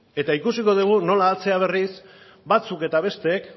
eta ikusiko dugu nola atzera berriz batzuk eta besteek